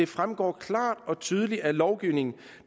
fremgår klart og tydeligt af lovgivningen